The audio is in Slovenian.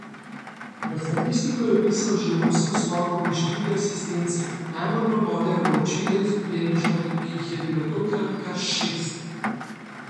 V statistiko je vpisal še osem skokov in štiri asistence, najbolj pa bodejo v oči le izgubljene žoge, ki jih je bilo tokrat kar šest.